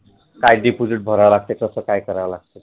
काळजी कुठे ठेवायला लागते आणि मग ते कस कराव लागत